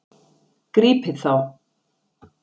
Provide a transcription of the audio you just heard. Grípið þá!